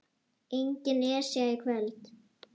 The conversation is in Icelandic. Engin Esja í kvöld.